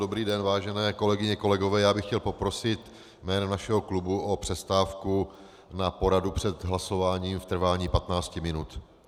Dobrý den, vážené kolegyně, kolegové, já bych chtěl poprosit jménem našeho klubu o přestávku na poradu před hlasováním v trvání 15 minut.